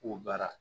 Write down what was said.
K'o baara